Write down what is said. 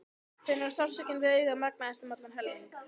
Finnur að sársaukinn við augað magnast um allan helming.